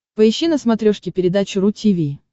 поищи на смотрешке передачу ру ти ви